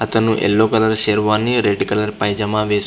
అతను yellow colour sherwani red colour pyjama వేసుకుని --